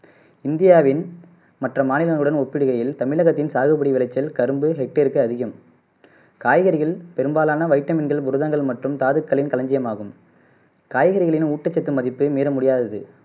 இந்தியாவின் மற்ற மாநிலங்களுடன் ஒப்பிடுகையில் தமிழகத்தின் சாகுபடி விளைச்சல் கரும்பு ஹெக்டேருக்கு அதிகம் காய்கறிகள் பெரும்பாலான வைட்டமின்கள் புரதங்கள் மற்றும் தாதுக்களின் களஞ்சியமாகும் காய்கறிகளின் ஊட்டச்சத்து மதிப்பு மீற முடியாதது